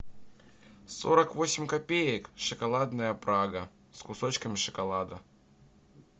сорок восемь копеек шоколадная прага с кусочками шоколада